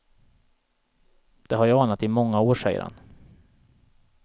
Det har jag anat i många år, säger han.